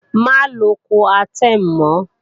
Má lo Coartem mọ́!